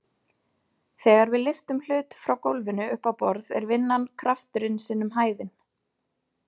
Þegar við lyftum hlut frá gólfinu upp á borð er vinnan krafturinn sinnum hæðin.